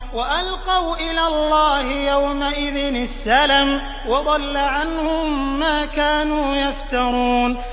وَأَلْقَوْا إِلَى اللَّهِ يَوْمَئِذٍ السَّلَمَ ۖ وَضَلَّ عَنْهُم مَّا كَانُوا يَفْتَرُونَ